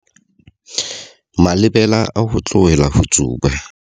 Malebela a ho tlohela ho tsuba.